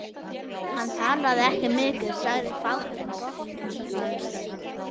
Hann talaði ekki mikið, sagði fátt en gott eins og þar stendur.